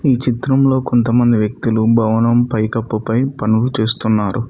ఈ చిత్రంలో కొంతమంది వ్యక్తులు భవనం పైకప్పు పై పనులు చేస్తున్నారు.